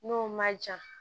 N'o ma jan